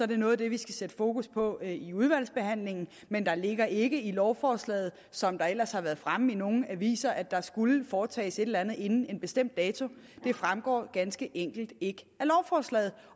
det noget af det vi skal sætte fokus på i udvalgsbehandlingen men der ligger ikke i lovforslaget som det ellers har været fremme i nogle aviser at der skulle foretages et eller andet inden en bestemt dato det fremgår ganske enkelt ikke